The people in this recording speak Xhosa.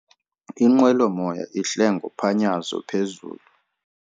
Inqwelomoya ihle ngophanyazo phezulu.